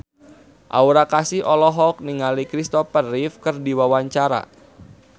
Aura Kasih olohok ningali Christopher Reeve keur diwawancara